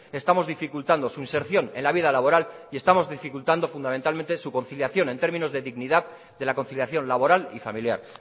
estamos dificultando su inserción en la vida laboral y estamos dificultando fundamentalmente su conciliación en términos de dignidad de la conciliación laboral y familiar